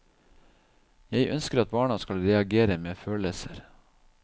Jeg ønsker at barna skal reagere med følelser.